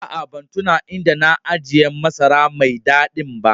Aa, ban tuna inda na ajia masara mai dadin ba.